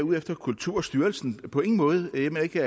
ude efter kulturstyrelsen på ingen måde jeg mener ikke